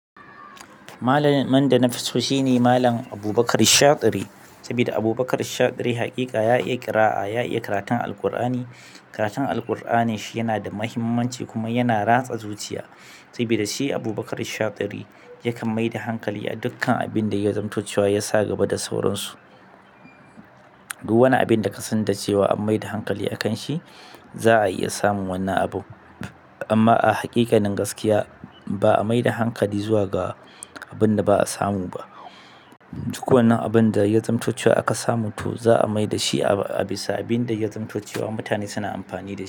Malamin da na fi son shi ne Mallam Abubakar shatiri, saboda abubakr shatiri haƙiƙa ya iya qir'a ya iya karatun alkurani. Karatun Alkuranin shi yana da mahimmanci kuma yana da ratsa zuciya saboda shi Abubakar Shatiri yakan mai da hankali a dukkan abin da ya zamantacewa ya sa gaba da sauran su. Duk wani abin da ka san cewa an mai da hankali a kan shi, za a iya samun wannan abu. Amma a haƙiƙanin gaskiya ba a mai da hankali zuwa ga abin da ba a samu ba. Duk wannan abin da ya zamanto cewa aka samu to za'a mai da shi a bisa abinda ya zamanto cewa mutane suna amfani da shi.